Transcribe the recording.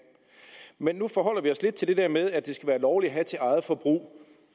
men nu forholder vi os lidt til det der med at det skal være lovligt at have til eget forbrug